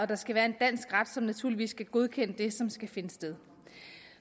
der skal være en dansk ret som naturligvis skal godkende det som skal finde sted